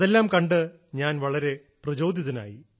അതെല്ലാം കണ്ട് ഞാൻ വളരെ പ്രചോദിതനായി